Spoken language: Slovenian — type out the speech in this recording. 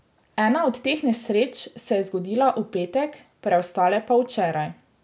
Ena od teh nesreč se je zgodila v petek, preostale pa včeraj.